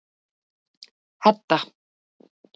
Hedda